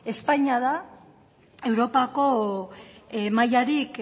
espainia da europako mailarik